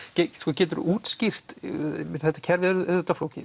geturðu útskýrt þetta kerfi er auðvitað flókið